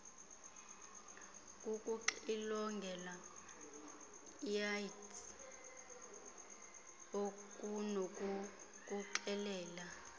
kukuxilongelwa iaids okunokukuxelela